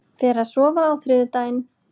Fer að sofa á þriðjudaginn